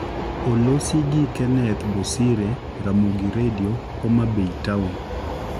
Olosi gi Kenneth Bosire, Ramogi Redio, Homa Bay Town